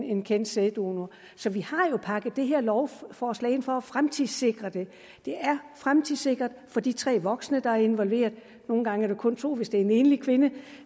en kendt sæddonor så vi har jo pakket det her lovforslag ind for at fremtidssikre det det er fremtidssikret for de tre voksne der er involveret nogle gange er det jo kun to hvis det er en enlig kvinde